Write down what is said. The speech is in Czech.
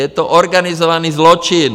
Je to organizovaný zločin!